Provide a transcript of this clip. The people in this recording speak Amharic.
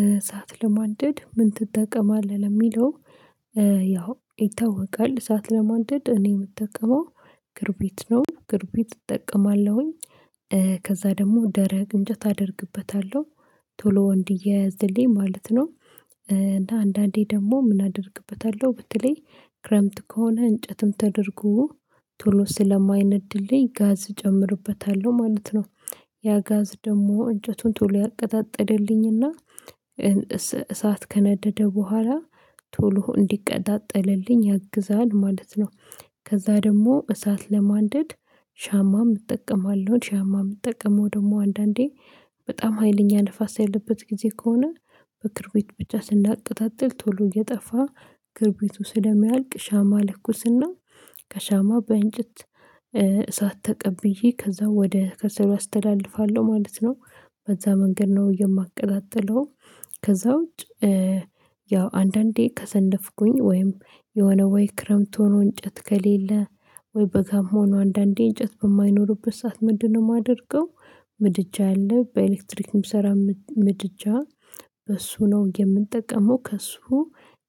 እሳት ለማንደድ ምን ትጠቀማለህ ለሚለው? ያው ይታወቃል እሳት ለማድድ እኔ የምጠቀመው ክብሪት ነው ክብሪት እጠቀማለሁ። ከዛ ደግሞ ደረቅ እንጨት አደርግበታለሁ ቶሎ እንዲያያዝልየኝ ማለት ነው። እና አንዳንዴ ደግሞ ምን አደርግበታለሁ በተለይ ክረምት ከሆነ እንጨትም ተደርጎ ቶሎ ስለማይነድልኝ ጋዝ እጨምርበታለሁ ማለት ነው። ያ ጋዝ ደግሞ እንጨቱን ቶሎ ያቀጣጥልልኝና እሳት ከነደደ በኋላ ቶሎ እንዲቀጣጠልልኝ ያግዛል ማለት ነው። ከዛ ደግሞ እሳት ለማንደድ ሻማም እጠቀማለሁ ሻማ የምጠቀመው ደግሞ አንዳንዴ በጣም ሀይለኛ ንፋስ ያለበት ጊዜ ከሆነ በክብሪት ብቻ ስናቀጣጥል ቶሎ እየጠፋ ክብሪቱ ስለሚያልቅ ሻማ እለኩስ እና ከሻማው በእንጭት እሳት ተቀብዬ ከዛ ወደ ከሰሉ አስተላልፋለሁ ማለት ነው በዛ መንገድ ነው የማቀጣጥለው። ከዛ ውጪ ያው አንዳንዴ ከሰነፍኩኝ ወይም የሆነ ወይ ክረምት ሆኖ እንጨት ከሌለ ወይ በጋም ሆኖ አንዳንዴ እንጨት በማይኖርበት ሰዓት ምንድ ነው የማደርገው? ምድጃ አለ በኤሌክትሪክ ሚሰራ ምድጃ በሱ ነው የምጠቀመው ከሱ